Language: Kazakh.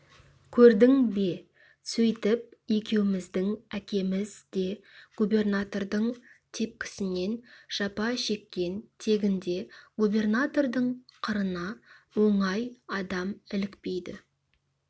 көрдің бе сөйтіп екеуміздің әкеміз де губернатордың тепкісінен жапа шеккен тегінде губернатордың қырына оңай адам ілікпейді